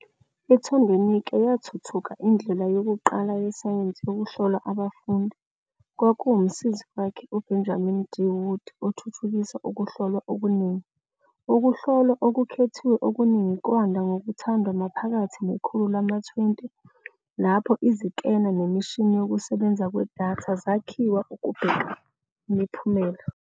I-Thorndwenike yathuthuka indlela yokuqala yesayensi yokuhlola abafundi, kwakuwumsizi wakhe uBenjamin D. Wood othuthukisa ukuhlolwa okuningi.. Ukuhlolwa okukhethiwe okuningi kwanda ngokuthandwa maphakathi nekhulu lama-20 lapho izikena nemishini yokusebenza kwedatha zakhiwa ukubheka imiphumela.